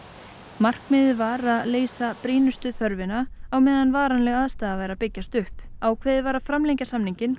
markmiðið var að leysa brýnustu þörfina á meðan varanleg aðstaða væri að byggjast upp ákveðið var að framlengja samninginn